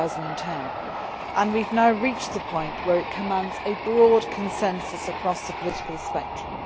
2010. We have now reached the point where it commands a broad consensus across the political spectrum.